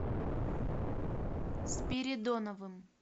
спиридоновым